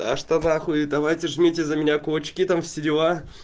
а что нахуй давайте вместе за меня кулачки там все дела